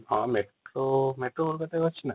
ହଁ ମେଟ୍ରୋ କୋଲକାତାରେ ଅଛି ନା |